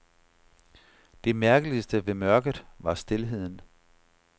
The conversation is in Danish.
Det mærkeligste ved mørket var stilheden.